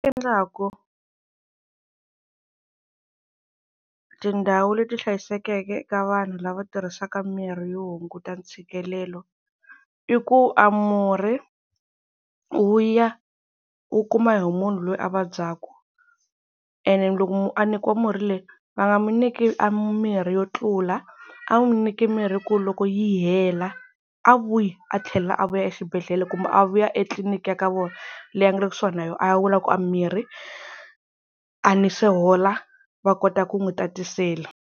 Endlaku tindhawu leti hlayisekeke ka vanhu lava tirhisaka mirhi yo hunguta ntshikelelo, i ku a murhi wu ya wu kuma hi munhu loyi a vabyaka ene loko munhu a nyikiwa murhi leyi va nga n'wi nyiki a mirhi yo tlula, a va n'wi nyiki mirhi ku loko yi hela a vuyi a tlhela a vuya exibedhlele kumbe a vuya etliliniki ya ka vona leyi a nga le kusuhani na yona, a ya vula ku a mirhi a ni se hola va kota ku n'wi tatisela.